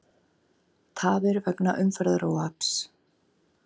Tafir vegna umferðaróhapps